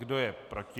Kdo je proti?